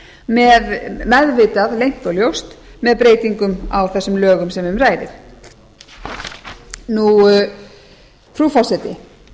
með meðvitað leynt og ljóst með breytingum á þessum lögum sem um ræðir frú forseti